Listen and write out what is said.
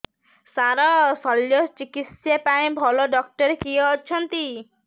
ସାର ଶଲ୍ୟଚିକିତ୍ସା ପାଇଁ ଭଲ ଡକ୍ଟର କିଏ ଅଛନ୍ତି